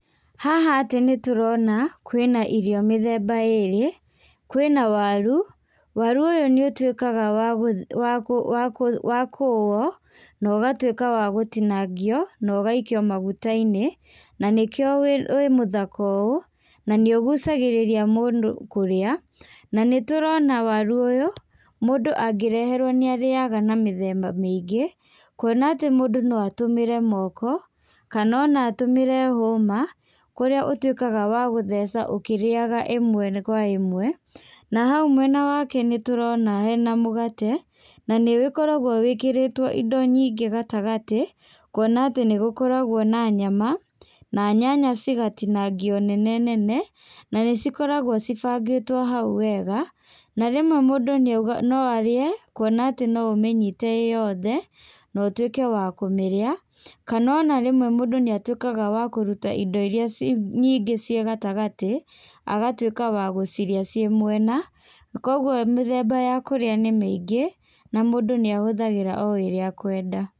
Haha atĩ nĩ tũrona, kwĩna irio mĩthemba ĩrĩ. Kwĩna waru. Waru ũyũ nĩ ũtuĩkaga wa kũũwo na ũgatuĩka wa gũtinangio na ũgaikio maguta-inĩ, na nĩkĩo wĩ mũthaka ũũ, na nĩ ũgucagĩrĩria mũndũ kũrĩa. Na nĩ tũrona waru ũyũ mũndu angĩreherwo nĩ arĩaga na mĩthemba mĩingĩ, kuona atĩ mũndũ no atũmĩre moko, kana o na atumĩre hũma, kũrĩa ũtuĩkaga wa gũtheca ũkĩrĩaga ĩmwe kwa ĩmwe. Na hau mwena wake nĩ tũrona hena mũgate. Na nĩ ũgĩkoragwo wĩkĩrĩtwo indo nyingĩ gatagatĩ, kuona atĩ nĩ gũkoragwo na nyama, na nyanya cigatinagio nene nene na nĩ cikoragwo cibangĩtwo hau wega. Na rĩmwe mũndũ no arĩe, kuona atĩ no ũmĩnyite ĩ yothe na ũtuĩke wa kũmĩrĩa, kana o na rĩmwe mũndũ nĩ atuĩkaga wa kũruta indo iria nyingĩ cia gatagatĩ agatuĩka wa gũcirĩa ciĩ mwena. Koguo mĩthemba ya kũrĩa nĩ mĩingĩ, na mũndũ nĩ ahũthagĩra o ĩrĩa akwenda.